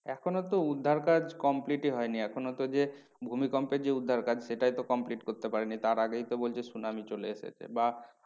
এখনো তো উদ্ধার কাজ complete ই হয়নি এখনো যে ভূমিকম্পের যে উদ্ধার কাজ সেটাই তো complete করতে পারেনি। তার আগেই তো বলছে সুনামি চলে এসেছে বা